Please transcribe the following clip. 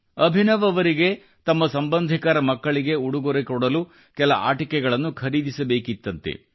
ಅಭಿನವ್ ಅವರಿಗೆ ತಮ್ಮ ಸಂಬಂಧಿಕರ ಮಕ್ಕಳಿಗೆ ಉಡುಗೊರೆ ನೀಡಲು ಕೆಲ ಆಟಿಕೆಗಳನ್ನು ಖರೀದಿಸಬೇಕಿತ್ತಂತೆ